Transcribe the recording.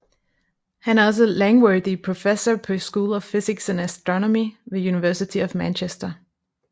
Han er også Langworthy Professor på School of Physics and Astronomy ved University of Manchester